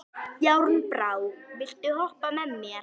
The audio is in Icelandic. Járnbrá, viltu hoppa með mér?